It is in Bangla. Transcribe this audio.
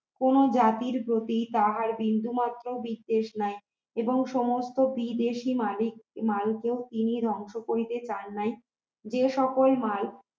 কোন জাতির প্রতি তাহার বিন্দুমাত্র বিদ্বেষ নাই এবং সমস্ত বিদেশী মালিক মালকে তিনি ধ্বংস করিতে চান নাই যে সকল মাল